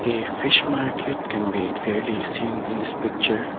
A fish market can be clearly seen in this picture